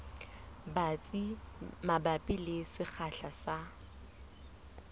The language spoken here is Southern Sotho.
batsi mabapi le sekgahla sa